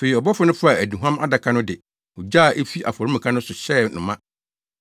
Afei ɔbɔfo no faa aduhuam adaka no de ogya a efi afɔremuka no so hyɛɛ no ma,